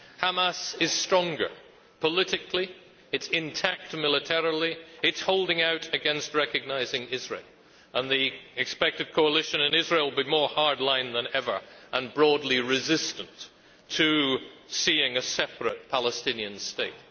Hamas is stronger politically, it is intact militarily, it is holding out against recognising Israel, and the expected coalition in Israel will be more hard line than ever and broadly resistant to seeing a separate Palestinian state.